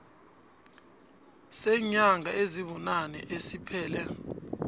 seenyanga ezibunane esiphele